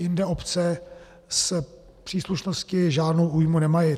Jinde obce s příslušností žádnou újmu nemají.